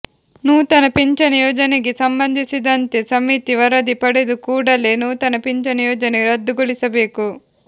ನೂತನ ಪಿಂಚಣಿ ಯೋಜನೆಗೆ ಸಂಬಂಧಿಸಿದಂತೆ ಸಮಿತಿ ವರದಿ ಪಡೆದು ಕೂಡಲೇ ನೂತನ ಪಿಂಚಣಿ ಯೋಜನೆ ರದ್ದುಗೊಳಿಸಬೇಕು